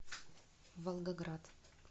волгоград